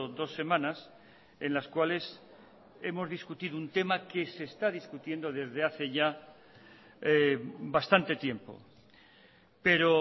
dos semanas en las cuales hemos discutido un tema que se está discutiendo desde hace ya bastante tiempo pero